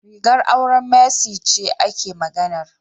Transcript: Rigar auren Mercy ce ake maganar.